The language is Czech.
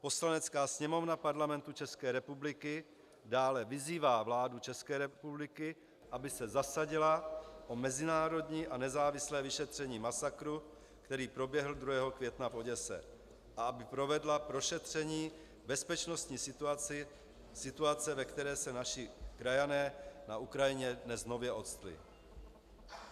Poslanecká sněmovna Parlamentu České republiky dále vyzývá vládu České republiky, aby se zasadila o mezinárodní a nezávislé vyšetření masakru, který proběhl 2. května v Oděse a aby provedla prošetření bezpečnostní situace, ve které se naši krajané na Ukrajině dnes nově ocitli."